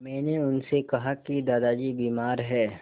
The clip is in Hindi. मैंने उनसे कहा कि दादाजी बीमार हैं